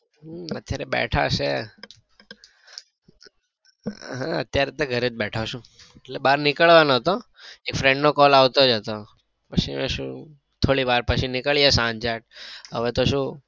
હમ અત્યારે બેઠા છીએ હમ અત્યારે તો ઘરે જ બેઠો છું એટલે બાર નીકળવાનો હતો એક ફ્રેન્ડ નો call આવતો જ હતો પછી પાછું થોડી વાર પછી નીકળીએ સાંજેક હવે તો શુ